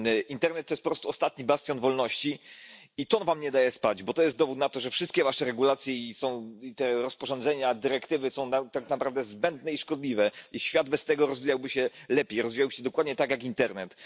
Internet to jest po prostu ostatni bastion wolności i to wam nie daje spać, bo to jest dowód na to, że wszystkie wasze regulacje i te rozporządzenia, dyrektywy są tak naprawdę zbędne i szkodliwe, i świat bez tego rozwijałby się lepiej, rozwijałby się dokładnie tak jak internet.